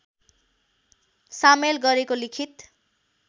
सामेल गरेको लिखित